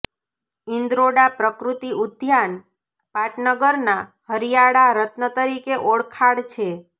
ઇન્દ્રોડા પ્રકૃતિ ઉદ્યાન પાટનગરના હરીયાળા રત્ન તરીકે ઓળખાળ છે